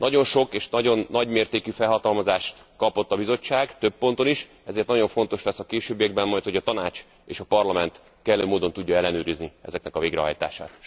Nagyon sok és nagyon nagymértékű felhatalmazást kapott a Bizottság több ponton is, ezért nagyon fontos lesz a későbbiekben majd, hogy a Tanács és a Parlament kellő módon tudja ellenőrizni ezeknek a végrehajtását.